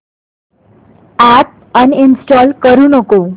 app uninstall करू नको